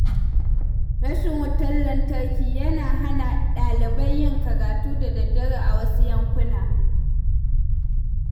Rashin wutar lantarki yana hana ɗalibai yin karatu da dare a wasu yankuna.